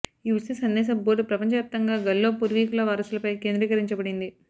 ఈ ఉచిత సందేశ బోర్డ్ ప్రపంచవ్యాప్తంగా గల్లో పూర్వీకుల వారసుల పై కేంద్రీకరించబడింది